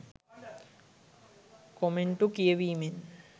කොමෙන්ටු කියවීමෙන්.